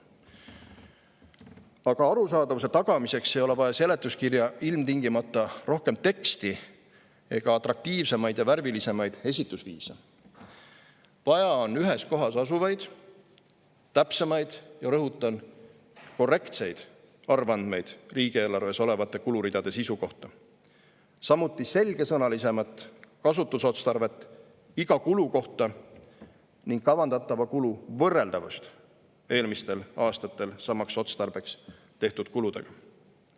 Aga arusaadavuse tagamiseks ei ole vaja seletuskirja ilmtingimata rohkem teksti ega atraktiivsemaid ja värvilisemaid esitusviise, vaid vaja on ühes kohas asuvaid, täpsemaid – ja rõhutan: korrektseid – arvandmeid riigieelarves olevate kuluridade sisu kohta, samuti selgesõnalisemat kasutusotstarvet iga kulu kohta ning kavandatava kulu võrreldavust eelmistel aastatel samaks otstarbeks tehtud kuludega.